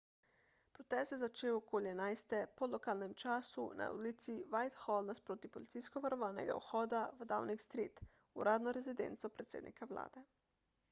protest se je začel okoli 11.00 po lokalnem času utc+1 na ulici whitehall nasproti policijsko varovanega vhoda v downing street uradno rezidenco predsednika vlade